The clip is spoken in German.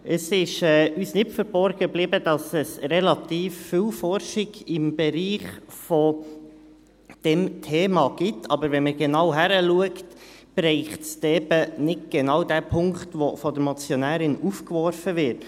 Es ist uns nicht verborgen geblieben, dass es relativ viel Forschung im Bereich dieses Themas gibt, wenn man aber genau hinschaut, trifft es eben nicht genau den Punkt, der durch die Motionärin aufgeworfen wird.